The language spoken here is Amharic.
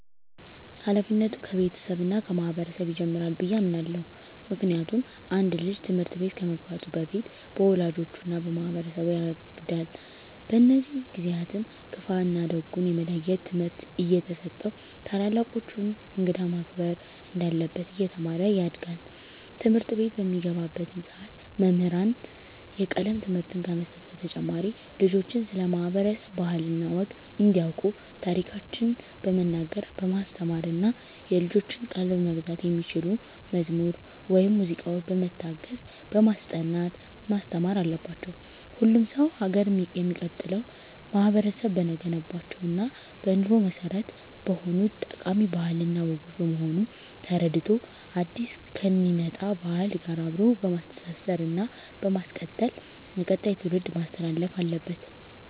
ሀላፊነቱ ከቤተሰብ እና ከማህበረሰብ ይጀምራል ብየ አምናለሁ። ምክንያቱም አንድ ልጅ ትምህርት ቤት ከመግባቱ በፊት በወላጆቹ እና በማህበረሰቡ ያጋድል። በእነዚህ ጊዜአትም ክፋ እና ደጉን የመለየት ትምህርት እየተሰጠው ታላላቆቹን፣ እንግዳን ማክበር እንዳለበት እየተማረ ያድጋል። ትምህርትቤት በሚገባባትም ሰዓት መምህራን የቀለም ትምህርትን ከመስጠት በተጨማሪ ልጆችን ስለ ማህበረሰብ ባህል እና ወግ እንዲያቁ ታሪኮችን በመናገር በማስተማር እና የልጆችን ቀልብ መግዛት በሚችሉ መዝሙር ወይም ሙዚቃዎች በመታገዝ በማስጠናት ማስተማር አለባቸው። ሁሉም ሰው ሀገር የሚቀጥለው ማህበረቡ በገነባቸው እና በኑሮ መሰረት በሆኑት ጠቃሚ ባህል እና ወጎች በመሆኑን ተረድቶ አዲስ ከሚመጣ ባህል ጋር አብሮ በማስተሳሰር እና በማስቀጠል ለቀጣይ ትውልድ ማስተላለፍ አለበት።